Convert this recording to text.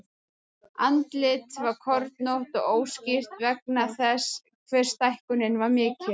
Andlitið var kornótt og óskýrt vegna þess hve stækkunin var mikil.